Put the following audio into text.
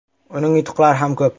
Uning yutuqlari ham ko‘p.